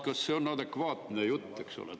Kas see on adekvaatne jutt?